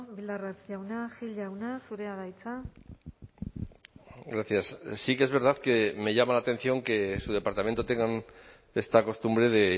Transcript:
bildarratz jauna gil jauna zurea da hitza gracias sí que es verdad que me llama la atención que en su departamento tengan esta costumbre de